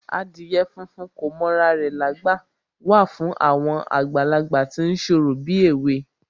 Adìyẹ funfun kò mọ ra rẹ̀lágbà wà fún àwọn àgbàlagbà tí ń ṣorò bíèwe